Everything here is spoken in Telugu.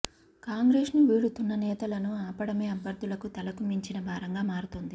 కాంగ్రెస్ను వీడుతున్న నేతలను ఆపడమే అభ్యర్దులకు తలకు మించిన భారంగా మారుతోంది